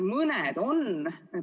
Mõni on.